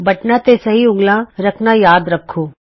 ਬਟਨਾਂ ਤੇ ਸਹੀ ਉਂਗਲਾਂ ਰੱਖਣਾ ਯਾਦ ਰੱਖੋ